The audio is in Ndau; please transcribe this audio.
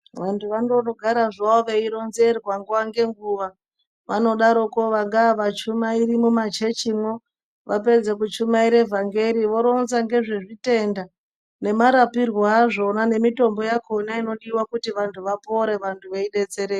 Vantu vanongogara veironzera nguwa ngenguwa vanodaroko vangava vachumairi mumachechimwo vapedza kuchamaira vhangeri vanorinza nezvezvitenda nemarapirwo azvona mitombo yakona inodiwa kuti vantu vapone vadetsereka.